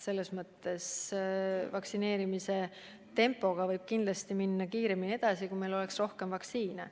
Niisuguse vaktsineerimise tempoga võiks kindlasti kiiremini edasi minna, kui meil oleks rohkem vaktsiine.